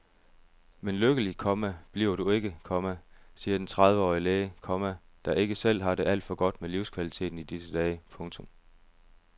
Men lykkelig, komma det bliver du ikke, komma siger den trediveårige læge, komma der ikke selv har det alt for godt med livskvaliteten i disse dage. punktum